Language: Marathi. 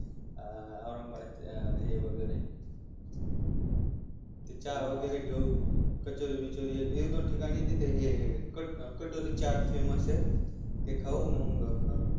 अं औरंगाबादचे हे वैगरे चहा वैगरे घेऊ कचोरी बिचोरी एक दोन ठिकाणी तिथे हे कटोरी चाट famous ते खाऊ मग आपण